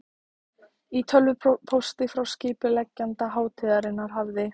Í tölvupósti frá skipuleggjanda hátíðarinnar hafði